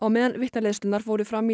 meðan vitnaleiðslurnar fóru fram